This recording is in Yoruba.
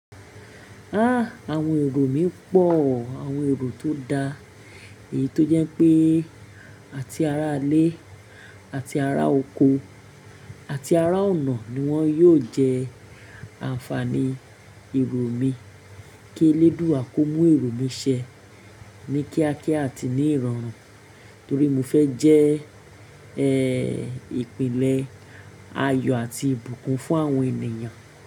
Àwọn èrò mi pọ̀, àwọn èrò tó da. Èyí tó jẹ́ pé àti ara alẹ́, àti ara oko àti ara ọ̀nà ni wọ́n yóò jẹ́ ànfàní èrò mi. Kí eléduwà kó mú èrò mi ṣẹ ní kíákíá àti ní ìrọ̀rùn, torí mo fẹ́ jẹ́ ìpìnlẹ̀ ayọ̀ àti ìbùkún fún àwọn ènìyàn.